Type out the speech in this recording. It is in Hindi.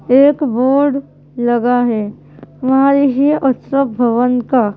एक बोर्ड लगा है वहां लिखी है उत्सव भवन का।